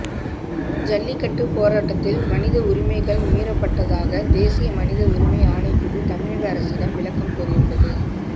ஜல்லிக்கட்டு போராட்டத்தில் மனித உரிமைகள் மீறப்பட்டதாக தேசிய மனித உரிமை ஆணைக்குழு தமிழக அரசிடம் விளக்கம் கோரியுள்ளது